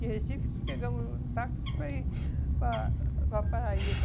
De Recife pegamos um táxi para ir para para Paraíba.